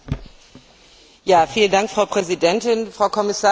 Frau Präsidentin, Frau Kommissarin, liebe Kolleginnen und Kollegen!